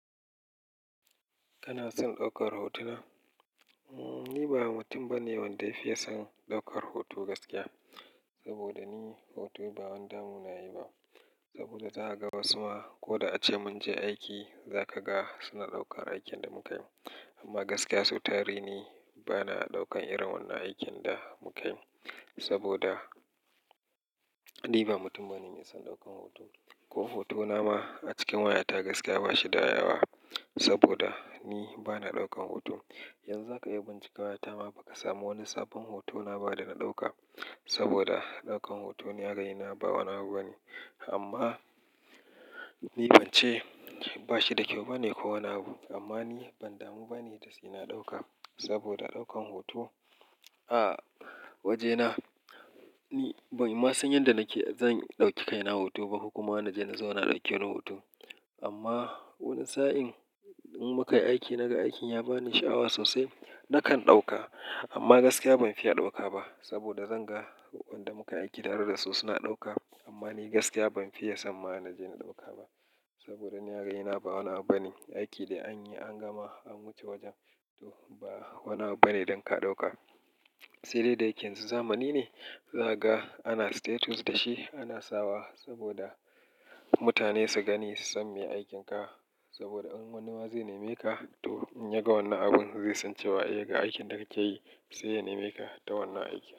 Kana son ɗaukar hotuna? Ni ba mutum bane wanda ya fiye son ɗaukar hoto gaskiya. Saboda ni hoto ba wani damuna yayi ba. Saboda zakaga wasu ma ko da ace munje aiki, zaka ga suna ɗaukar aikin da mukayi. Amma gaskiya sau tare ni bana ɗaukan irin wannan aikin da mukayi. Saboda ni ba mutum bane mai son ɗaukan hoto. Ko hotona ma a cikin wayata gaskiya bashi da yawa. Saboda ni bana ɗaukan hoto. Yanzu zaka iya bincika wayata ma, bakasamu wani sabon hotona ba da na ɗauka. Saboda ɗaukan hoto ni a raina ba wani abu bane. Amma ni bance bashi da kyau bane ko wani abu. Amma ni ban damu bane da sai na ɗauka. Saboda ɗaukan hoto a wajena, ni ban ma san yanda nake zan ɗauki kaina hoto ba. Kuma na je na zauna a ɗauke ni hoto. Amma wani sa'in in mukayi aiki naga aikin yabani sha'awa sosai, nakan ɗauka. Amma gaskiya banfiya ɗauka ba. Saboda zanga duk wanda mukayi aiki tare dasu suna ɗauka. Amma ni gaskiya banfiya samma'na je na ɗauka ba. Saboda ni a raina ba wani abu bane. Aiki dai anyi an gama, an wuce wajen to ba wani abu bane don ka ɗauka. Sai dai da yake yanzu zamani ne, zakaga ana status da shi ana sawa. Saboda mutane su gani, su san me aikinka. Saboda in wani waza nemeka to in yaga wannan abun zai san cewa eh ga aikin da kakeyi sai ya nemeka ta wannan aiki.